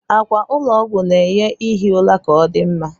Akwa ụlọ ọgwụ na-enye ihi ụra ka odị mma